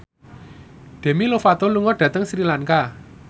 Demi Lovato lunga dhateng Sri Lanka